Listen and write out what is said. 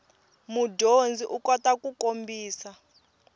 mudyondzi u kota ku kombisa